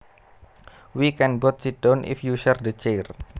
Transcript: We can both sit down if you share the chair